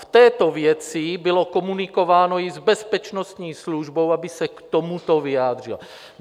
V této věci bylo komunikováno i s Bezpečnostní službou, aby se k tomuto vyjádřila.